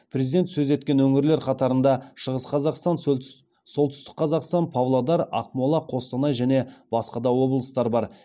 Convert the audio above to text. президент сөз еткен өңірлер қатарында шығыс қазақстан солтүстік қазақстан павлодар ақмола қостанай және басқа да облыстар бар